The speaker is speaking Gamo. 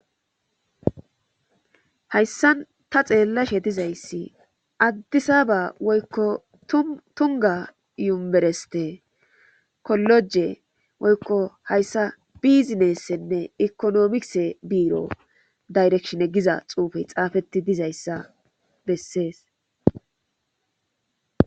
hayssan ta xeellashe dizayssi addisaba woykko tunga yuereste koloje woykko hayssa bizinessenne ekonomise biiro dayrekshine giza xuufey xaafetti dizayssa bessees.